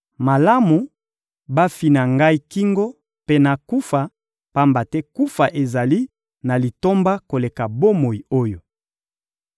Malamu bafina ngai kingo mpe nakufa, pamba te kufa ezali na litomba koleka bomoi oyo.